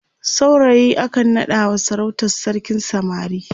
saurayi akan naɗawa sarautar sarkin samari